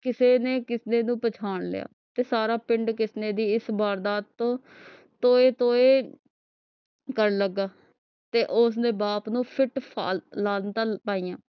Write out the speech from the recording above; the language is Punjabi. ਕਿਸੇ ਨੇ ਕਿਸਨੇ ਨੂੰ ਪਹਿਚਾਣ ਲਿਆ ਤੇ ਸਾਰਾ ਪਿੰਡ ਕਿਸਨੇ ਦੀ ਇਸ ਵਾਰਦਾਤ ਤੋਂ ਤੋਏ ਤੋਏ ਕਰਨ ਲਗਾ ਤੇ ਉਸਦੇ ਬਾਪ ਨੂੰ ਲਾਨਤਾਂ ਪਾਇਆਂ